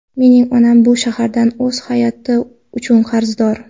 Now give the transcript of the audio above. Mening onam bu shahardan o‘z hayoti uchun qarzdor.